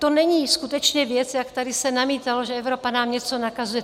To není skutečně věc, jak se tady namítalo, že Evropa nám něco nakazuje.